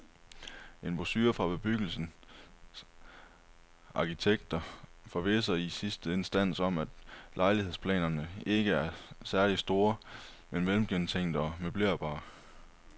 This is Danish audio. En brochure fra bebyggelsens arkitekter forvisser i sidste instans om, at lejlighedsplanerne ikke er særlig store, men velgennemtænkte og møblerbare.